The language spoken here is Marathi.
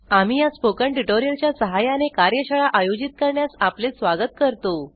आम्ही या स्पोकन ट्यूटोरियल च्या सहाय्याने कार्यशाळा आयोजित करण्यास आपले स्वागत करतो